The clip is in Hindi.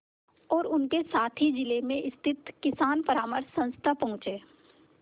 और उनके साथी जिले में स्थित किसान परामर्श संस्था पहुँचे